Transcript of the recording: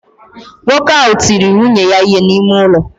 Nwoke ahụ tiri nwunye ya ihe n'ime ụlọ